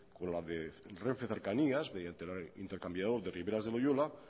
con la de renfe cercanías mediante el intercambiador de riberas de loyola